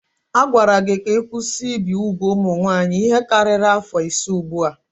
A gwara gị ka ị kwụsị ibi úgwù ụmụ nwaanyị ihe karịrị afọ ise ugbu a.